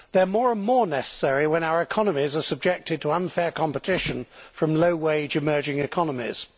They are more and more necessary when our economies are subjected to unfair competition from low wage emerging economies.